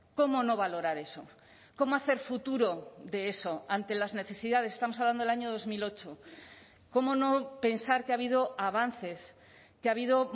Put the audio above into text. cómo no valorar eso cómo hacer futuro de eso ante las necesidades estamos hablando del año dos mil ocho cómo no pensar que ha habido avances que ha habido